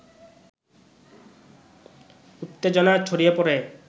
উত্তেজনা ছড়িয়ে পড়ে